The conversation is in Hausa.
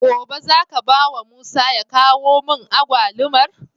Gobe zaka bawa musa ya kawo mun agwalumar?